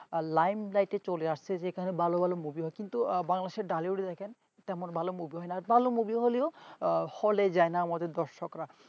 line দেখে চলে আসছে যেখানে ভালো ভালো movie হয় কিন্তু বাংলাদেশের tollywood দেখেন তার মন ভালো movie হয় না ভালো movie হলেও হলে যায় না আমাদের দর্শকরা।